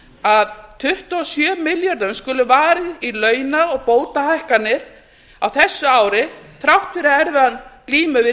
að tuttugu og sjö milljörðum skuli varið í launa og bótahækkanir á þessu ári þrátt fyrir erfiða glímu